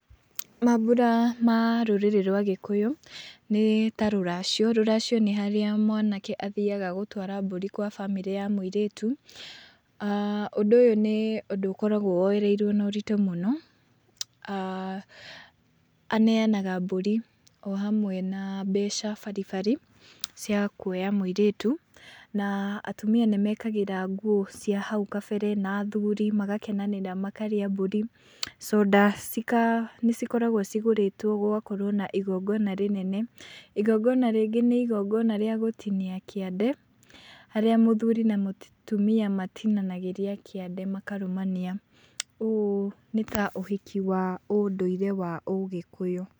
Mambura ma rũrĩrĩ rwa Gĩkũyũ nĩ rĩu ta rũracio, rũracio nĩ harĩa mwana ke athiyaga gũtwara gwa bamĩrĩ ya mũirĩtu, ũndũ ũyũ nĩ ũndũ ũkoragwo woyereirwo na ũritũ mũno, aah, aneyanaga mbũri, o ũmwe na mbeca baribari, cia kuoya mũirĩtu, na atumia nĩ mekĩraga nguo cia hau gatene na athuri magakenanĩra, makarĩa mbũri, soda cika, nĩ cikoragwo cigũrĩtwo gũgakorwo na igongona rĩnene. I gongona rĩngĩ nĩ igongona rĩa gũtinia kĩande, harĩa mũthuri na mũtumia matinagia kĩande makarũmania. Ũyũ nĩta ũhiki wa ũndũire wa ũgĩkũyũ.